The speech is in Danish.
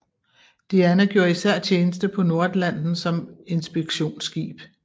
Diana gjorde især tjeneste på Nordatlanten som inspektionsskib